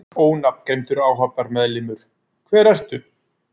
Ónafngreindur áhafnarmeðlimur: Hver ertu?